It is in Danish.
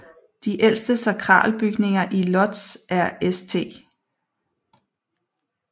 De ældste sakralbygninger i Łódź er St